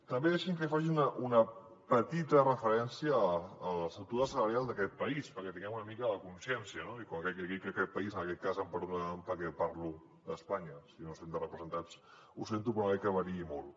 també deixi’m que faci una petita referència a l’estructura salarial d’aquest país perquè en tinguem una mica de consciència no i quan dic aquest país en aquest cas em perdonaran perquè parlo d’espanya si no se senten representats ho sento però no crec que variï molt